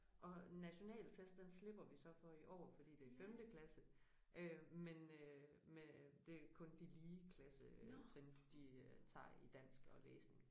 Og nationaltest den slipper vi så for i år fordi det femte klasse øh men øh men det kun de lige klassetrin de øh tager i dansk og læsning